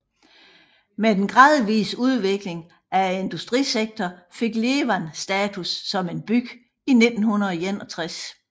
Med den gradvise udvikling af industrisektoren fik Ijevan status som en by i 1961